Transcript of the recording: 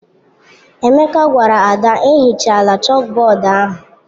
Emeka gwara Ada, ehichala chalkboard ahụ!